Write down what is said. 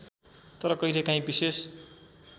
तर कहिलेकाँही विशेष